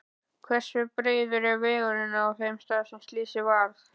Hversu breiður er vegurinn á þeim stað er slysið varð?